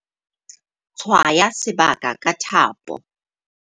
Tshwaya sebaka ka thapo.